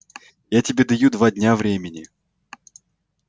я тебе даю два дня времени